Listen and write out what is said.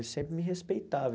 Ele sempre me respeitava.